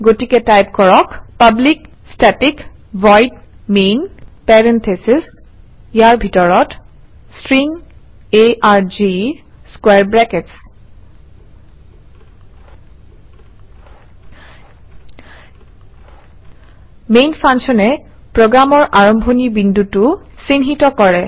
গতিকে টাইপ কৰক public static void main parentheses inside parentheses string arg square brackets main ফাংশ্যনে প্ৰগ্ৰামৰ আৰম্ভণি বিন্দুটো চিহ্নিত কৰে